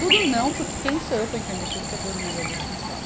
Tudo não, porque quem sou eu para entender tudo o que a Dona Maria Duschenes fala?